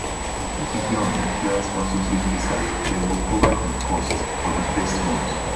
but if you dey on employer sponsorship visa dem go cover di cost for di first month